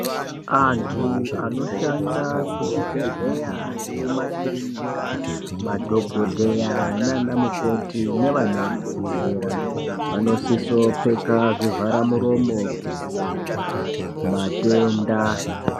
Antu anoshanda kuzvibhendleya nekumakirinika, madhokodheya nanamukoti nevanovadetsera vanosisa kupfeka zvivharamuromo kuita kudzivirira matenda.